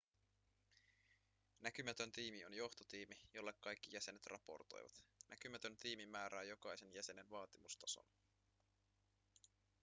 näkymätön tiimi on johtotiimi jolle kaikki jäsenet raportoivat näkymätön tiimi määrää jokaisen jäsenen vaatimustason